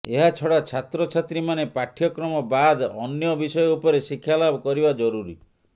ଏହାଛଡ଼ା ଛାତ୍ରଛାତ୍ରୀମାନେ ପାଠ୍ୟକ୍ରମ ବାଦ୍ ଅନ୍ୟ ବିଷୟ ଉପରେ ଶିକ୍ଷାଲାଭ କରିବା ଜରୁରୀ